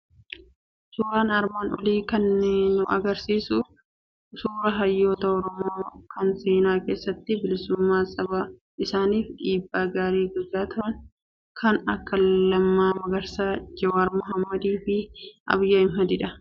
Suuraan armaan olii kun kan nu hubachiisu suuraa Hayyoota Oromoo, kan seenaa keessatti bilisummaa saba isaaniif dhiibbaa gaarii gochaa turan, kan akka Lammaa Magarsaa, Jowaar Mohaammedii fi Abiyi Ahmedi dha.